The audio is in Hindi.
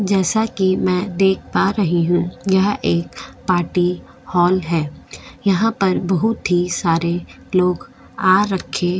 जैसा कि मैं देख पा रही हूं यह एक पार्टी हॉल है यहां पर बहुत ही सारे लोग आ रहे हैं।